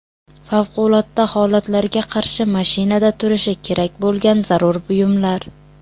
Favqulodda holatlarga qarshi mashinada turishi kerak bo‘lgan zarur buyumlar .